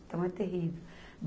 Então, é terrível.